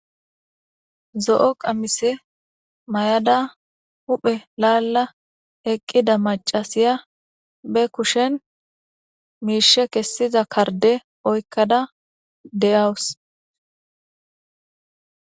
Zo'o qamise mayada huphe laala eqqida maccasiya be kushen miishshe kessiza kardde oykkada de'awus.